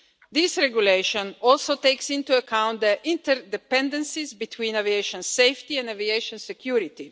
This regulation also takes into account the interdependencies between aviation safety and aviation security.